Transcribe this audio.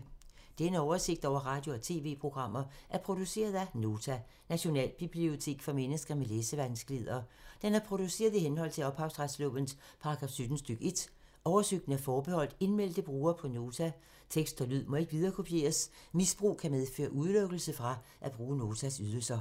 Denne oversigt over radio og TV-programmer er produceret af Nota, Nationalbibliotek for mennesker med læsevanskeligheder. Den er produceret i henhold til ophavsretslovens paragraf 17 stk. 1. Oversigten er forbeholdt indmeldte brugere på Nota. Tekst og lyd må ikke viderekopieres. Misbrug kan medføre udelukkelse fra at bruge Notas ydelser.